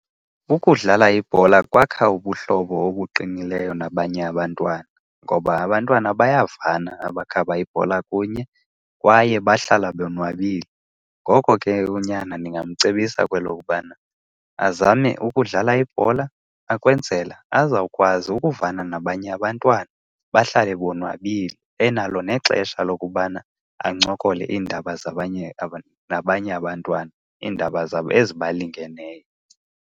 Ukudlala ibhola kwakha ubuhlobo obuqinileyo nabanye abantwana, ngoba abantwana bayavana abakhaba ibhola kunye kwaye bahlala bonwabile. Ngoko ke unyana ndingamcebisa kwelokubana azame ukudlala ibhola ukwenzela azawukwazi ukuvana nabanye abantwana bahlale bonwabile, enalo nexesha lokubana ancokole iindaba zabanye nabanye abantwana, iindaba zabo ezibalingeneyo.